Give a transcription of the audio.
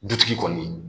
Dutigi kɔni